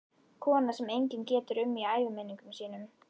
Kona sem enginn getur um í æviminningum sínum.